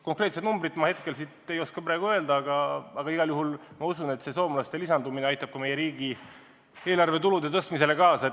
Konkreetset numbrit ma hetkel ei oska öelda, aga ma igal juhul usun, et soomlaste lisaostud aitavad meie riigieelarve tulude suurenemisele kaasa.